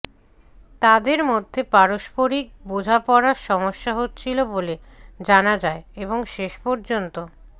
তাঁদের মধ্যে পারস্পরিক বোঝাপড়ার সমস্যা হচ্ছিল বলে জানা যায় এবং শেষ পর্যন্ত